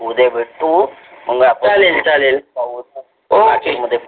ठीक आहे. उदया बेटतो मंग आपण जाऊन पाहू